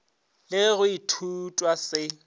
le ge go ithutwa se